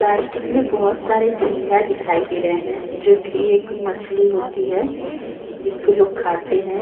Plastic में बहुत सारे झिंगा दिखाई दे रहे हैं जो की एक मछली होती है जिसको लोग खाते हैं।